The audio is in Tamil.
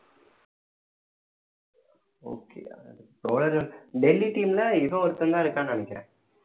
okay டெல்லி team ல இவ ஒருத்தன்தான் இருக்கான்னு நினைக்கிறேன்